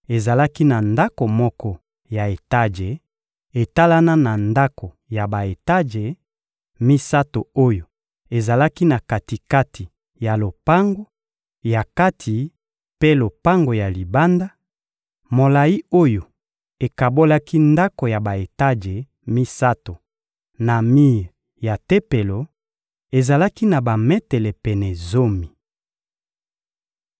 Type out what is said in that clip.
Ezalaki na ndako moko ya etaje etalana na ndako ya ba-etaje misato oyo ezalaki na kati-kati ya lopango ya kati mpe lopango ya libanda; molayi oyo ekabolaki ndako ya ba-etaje misato na mir ya Tempelo ezalaki na bametele pene zomi.